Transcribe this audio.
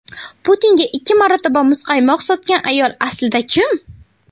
Putinga ikki marotaba muzqaymoq sotgan ayol aslida kim?.